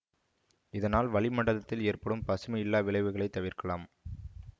இதனால் வளிமண்டலத்தில் ஏற்படும் பசுமை இல்ல விளைவுகளைத் தவிர்க்கலாம்